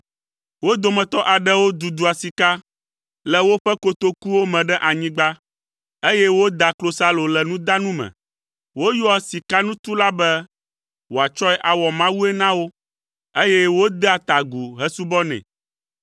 Wo dometɔ aɖewo dudua sika le woƒe kotokuwo me ɖe anyigba, eye wodaa klosalo le nudanu me. Woyɔa sikanutula be wòatsɔe awɔ mawue na wo, eye wodea ta agu hesubɔnɛ.